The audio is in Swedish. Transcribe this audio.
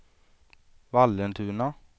Vallentuna